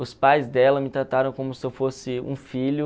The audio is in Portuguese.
Os pais dela me trataram como se eu fosse um filho.